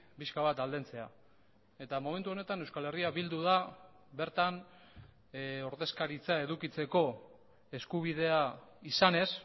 pixka bat aldentzea eta momentu honetan euskal herria bildu da bertan ordezkaritza edukitzeko eskubidea izanez